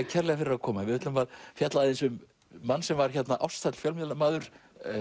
kærlega fyrir að koma við ætlum að fjalla aðeins um mann sem var hérna fjölmiðlamaður